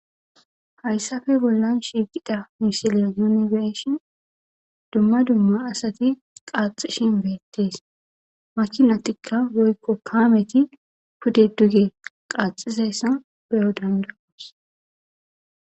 Hayssafe bollan shiiqida misile yunifeshion dumma dumma asati qaaxishin beettees makinatikka woykko kaameti kude duge qaxizessan beyo dandaos.